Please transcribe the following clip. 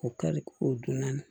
O kari o don naani